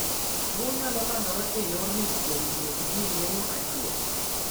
Tuo nyalo landre e yorni kowuok kuom tiyo gi gir yeng`o achiel.